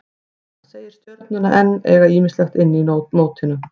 Hann segir Stjörnuna enn eiga ýmislegt inni í mótinu.